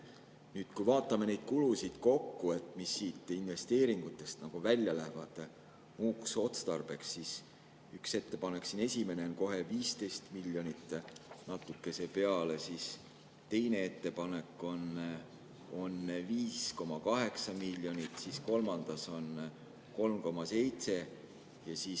Nüüd, kui vaatame neid kulusid kokku, mis siit investeeringutest välja lähevad muuks otstarbeks, siis üks ettepanek, siin esimene kohe, on 15 miljonit ja natuke peale, teine ettepanek on 5,8 miljonit ja kolmas on 3,7 miljonit.